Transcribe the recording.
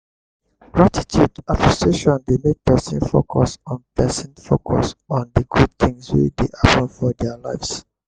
gratitude appreciation dey make person focus on person focus on di good things wey dey happen for their lives